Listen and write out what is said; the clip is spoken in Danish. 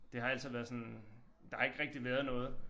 Det har altid været sådan der har ikke rigtig været noget